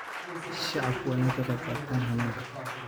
Shacabku waa in ay ka qaybqaataan hannaanka.